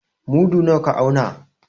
Mudu nawa ka auna?